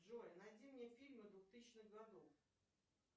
джой найди мне фильмы двухтысячных годов